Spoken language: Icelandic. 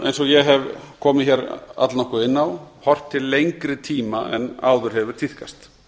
eins og ég hef komið allnokkuð inn á og horft til lengri tíma en áður hefur tíðkast